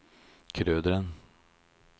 Krøderen